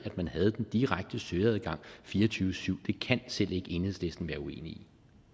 at man havde den direkte søgeadgang fire og tyve syv det kan selv ikke enhedslisten være uenig